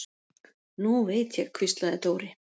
Nú veit ég, hvíslaði Dóri.